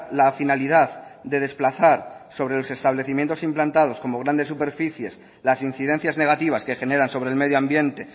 la finalidad de desplazar sobre los establecimientos implantados como grandes superficies las incidencias negativas que generan sobre el medioambiente